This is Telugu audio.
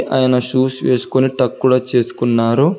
ఆయన షూస్ వేసుకొని టక్కు కూడా చేసుకున్నాడు.